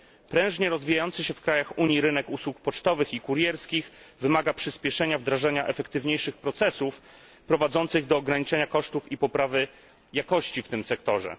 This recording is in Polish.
Prężnie rozwijający się w krajach Unii rynek usług pocztowych i kurierskich wymaga przyspieszenia wdrażania efektywniejszych procesów, prowadzących do ograniczenia kosztów i poprawy jakości w tym sektorze.